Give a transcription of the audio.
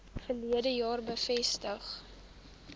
verlede jaar bevestig